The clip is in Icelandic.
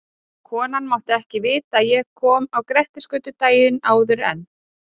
Konan mátti ekki vita að ég kom á Grettisgötu daginn áður en